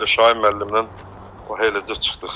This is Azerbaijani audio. Elə Şahin müəllimlə o eləcə çıxdıq.